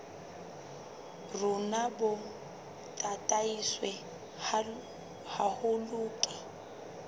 rona bo tataiswe haholo ke